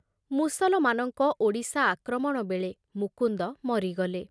ମୁସଲମାନଙ୍କ ଓଡ଼ିଶା ଆକ୍ରମଣ ବେଳେ ମୁକୁନ୍ଦ ମରିଗଲେ।